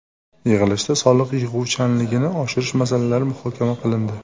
Yig‘ilishda soliq yig‘uvchanligini oshirish masalalari muhokama qilindi.